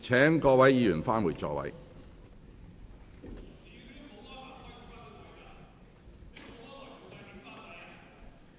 請各位議員返回座位。